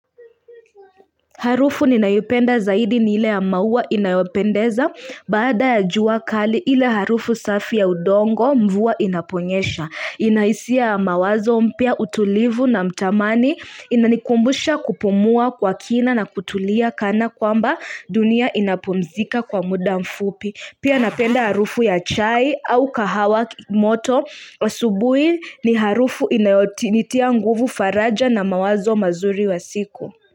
Harufu ninayoipenda zaidi ni ile ya maua inayopendeza baada ya jua kali ile harufu safi ya udongo mvua inaponyesha Inahisia ya mawazo mapya utulivu na mtamani inanikumbusha kupumua kwa kina na kutulia kana kwamba dunia inapomzika kwa muda mfupi Pia napenda harufu ya chai au kahawa moto asubui ni harufu inayonitia nguvu faraja na mawazo mazuri ya siku.